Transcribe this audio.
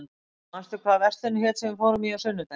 Bjarmi, manstu hvað verslunin hét sem við fórum í á sunnudaginn?